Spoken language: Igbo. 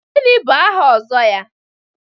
Gịnị bụ aha Ozo ya?